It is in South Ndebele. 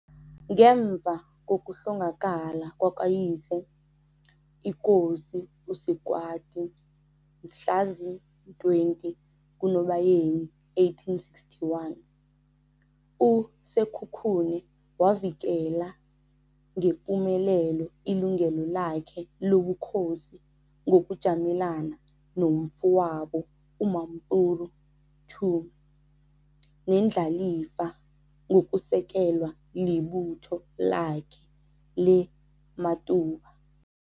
Ngemva kokuhlongakala kwakayise, iKosi u-Sekwati, mhlazi-20 kuNobayeni 1861, u-Sekhukhune wavikela ngepumelelo ilungelo lakhe lobukhosi ngokujamelana nomfowabo u-Mampuru II nendlalifa ngokusekelwa libutho lakhe le-Matuba.